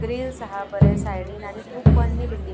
आणि अ बिल्डिंग बरीच पन्नी दिसता.